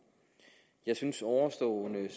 jeg synes at ovenstående